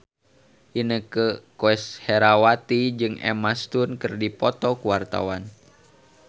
Inneke Koesherawati jeung Emma Stone keur dipoto ku wartawan